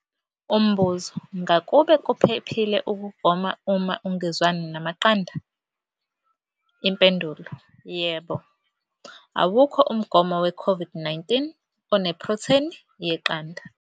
Umbuzo- Ngakube kuphephile ukugoma uma ungezwani namaqanda? Impendulo- Yebo. Awukho umgomo weCOVID-19 onephrotheni yeqanda.